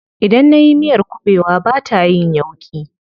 Idan nayi miyar kuɓewa bata yin yauƙi.